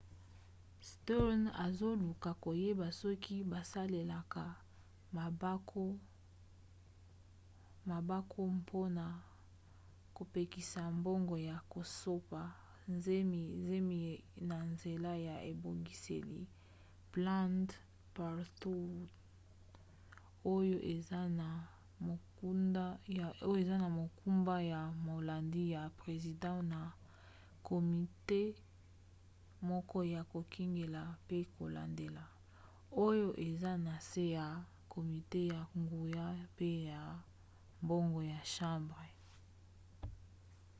stearns azoluka koyeba soki basalelaka bampako mpona kopekisa mbongo ya kosopa zemi na nzela ya ebongiseli planned parenthood oyo eza na mokumba ya molandi ya president na komite moke ya kokengela pe kolandela oyo eza na se ya komite ya nguya pe ya mbongo ya chambre